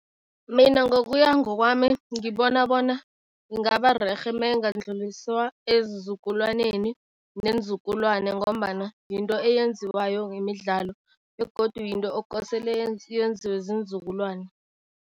Mina ngokuya ngokwami, ngibona bona ingaba rerhe mayingandluliswa ezizukulwaneni nenzukulwane ngombana yinto eyenziwayo ngemidlalo begodu yinto okosele yenziwe ziinzukulwane.